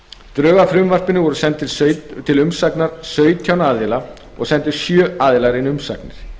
drög að frumvarpinu voru send til sautján aðila og sendu sjö inn umsagnir